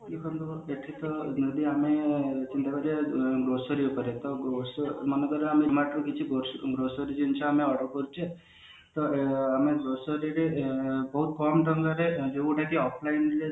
grocery ଉପରେ ମନେ କର ଆମେ କିଛି go grocery ଜିନିଷ ଆମେ order କରୁଛେ ତ ଆମେ grocery ବହୁତ କମ ଟଙ୍କାରେ ଯୋଉଟା କି offline